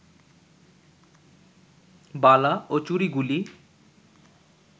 বালা ও চুড়িগুলি